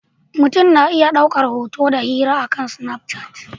Mutum na iya ɗaukar hoto da hira akan Snapchat.